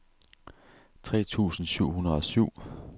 tre tusind syv hundrede og syv